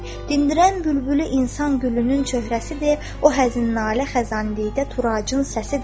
Dindirən bülbülü insan gülünün çöhrəsidir, o həzin nalə xəzan deyildə turacın səsidir.